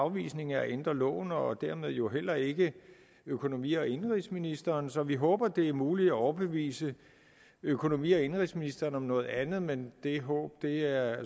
afvisning af at ændre loven og dermed jo heller ikke økonomi og indenrigsministeren så vi håber at det er muligt at overbevise økonomi og indenrigsministeren om noget andet men det håb er